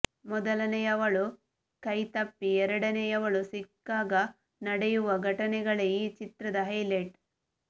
ಮೊದಲನೆಯವಳು ಕೈತಪ್ಪಿ ಎರಡನೆಯವಳು ಸಿಕ್ಕಾಗ ನಡೆಯುವ ಘಟನೆಗಳೇ ಈ ಚಿತ್ರದ ಹೈಲೆಟ್